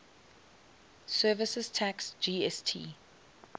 services tax gst